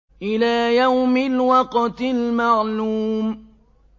إِلَىٰ يَوْمِ الْوَقْتِ الْمَعْلُومِ